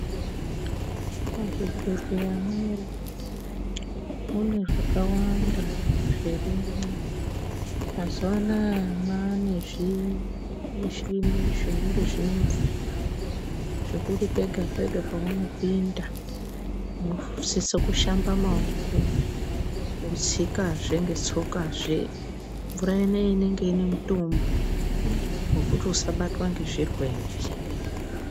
Muzvibhehlera mwedu mune zvakawanda zviro zvirimwo, mazuwanaya mane zvimushini zvinenge zvine mvura zvekuti pega pega paunopinda unosise kushamba maoko wotsikazve ngetsokazve ,mvura ineyi inenge ine mitombo yekuti usabatwa ngezvirwere.